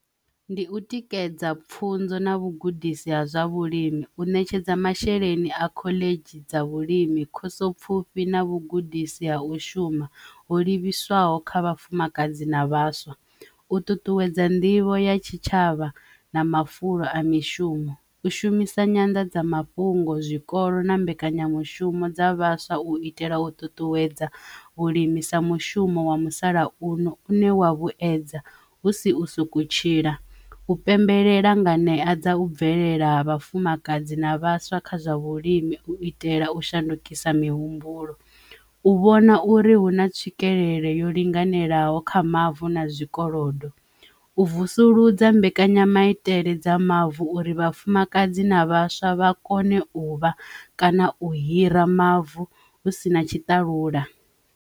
Ndi u tikedza pfunzo na vhugudisi ha zwa vhulimi u ṋetshedza masheleni a khoḽedzhi dza vhulimi, khoso pfufhi na vhugudisi ha u shuma ho livhiswaho kha vhafumakadzi na vhaswa. U ṱuṱuwedza nḓivho ya tshitshavha na mafulo a mishumo, u shumisa nyanḓadzamafhungo zwikolo na mbekanyamushumo dza vhaswa u itela u ṱuṱuwedza u limisa mushumo wa musalauno u ne wa vhuedza husi u sokou tshila. U pembelela nga ṋea dza u bvelela ha vhafumakadzi na vhaswa kha zwa vhulimi u itela u shandukisa mihumbulo, u vhona uri huna tswikelelo yo linganelaho kha mavu na zwikolodo u vusuludza mbekanyamaitele dza mavu uri vhafumakadzi na vhaswa vha kone u vha kana u hira mavu hu si na tshitalula.